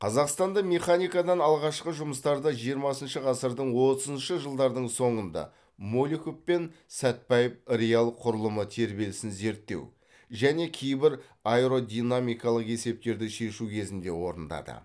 қазақстанда механикадан алғашқы жұмыстарды жиырмасыншы ғасырдың отызыншы жылдардың соңында молюков пен сәтбаев реал құралымы тербелісін зерттеу және кейбір аэродинамикалық есептерді шешу кезінде орындады